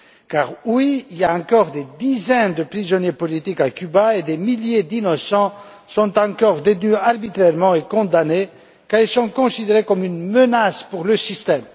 Car, oui, il y a encore des dizaines de prisonniers politiques à Cuba et des milliers d'innocents sont encore détenus arbitrairement et condamnés, car ils sont considérés comme une menace pour le système.